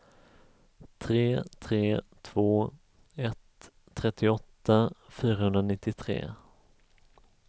tre tre två ett trettioåtta fyrahundranittiotre